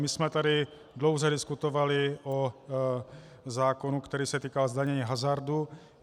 My jsme tady dlouze diskutovali o zákonu, který se týká zdanění hazardu.